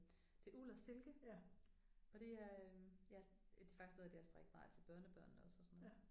Det uld og silke og det er øh ja det er faktisk noget af det jeg har strikket meget af til børnebørnene også og sådan